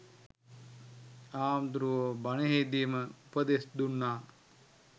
හාමුදුරුවො බණේදිම උපදෙස් දුන්නා